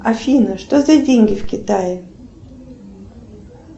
афина что за деньги в китае